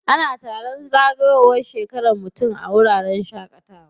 Ana taron zagayowar shekaran mutum a wuraren shaƙatawa.